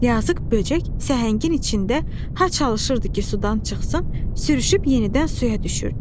Yazıq böcək səhəngin içində ha çalışırdı ki, sudan çıxsın, sürüşüb yenidən suya düşürdü.